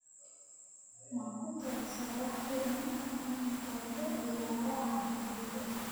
Ma ku talisaa wax filim ah in lagu ciyaaro xaafadayda?